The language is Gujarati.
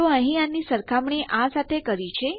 તો અહીં આની સરખામણી આ સાથે કરી છે